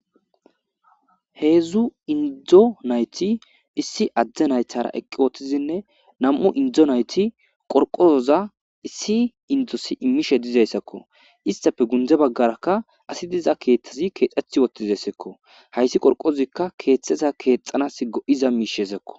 Heedzdzu indzdzo nayti issi adde naytara eqqi woottizinne nam'u indzo nayti qorqozoza issi indosi immishe dizayssakko istafe gundze baggarakka asi diza keeththezi keexxeth wottizayssakko hayssi qorqozikka keeththeza keexxanas go'iz miishesakko.